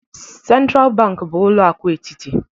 Sentral banki bụ ụlọ akụ etiti.